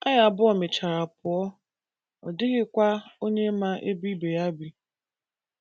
Anyị abụọ mechara pụọ, ọ dịghịkwa onye ma ebe ibe ya bi.